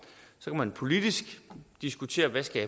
man kan politisk diskutere hvad